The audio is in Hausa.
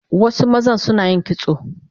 Wasu mazan Sunayin kitso